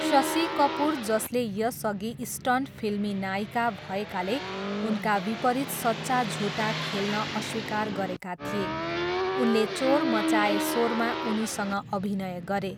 शशी कपुर जसले यसअघि 'स्टन्ट फिल्मी नायिका' भएकाले उनका विपरीत सच्चा झुठा खेल्न अस्वीकार गरेका थिए, उनले चोर मचाये सोरमा उनीसँग अभिनय गरे।